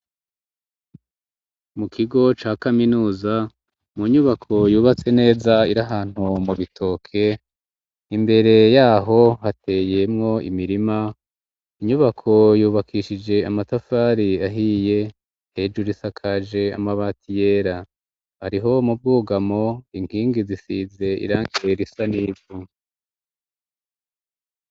Mu kigo ca kaminuza ,mu nyubako yubatse neza irahantu mu bitoke ,imbere yaho hateyemwo imirima, inyubako yubakishije amatafari ahiye, hejuru isakaje amabati yera, ariho mu bwugamo inkingi zisize irangi risa n'ivu.